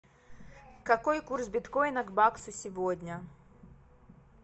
какой курс биткоина к баксу сегодня